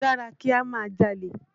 Ṣé ó dára kí á máa jalè?